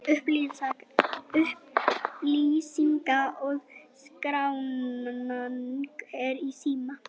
Upplýsingar og skráning er í síma.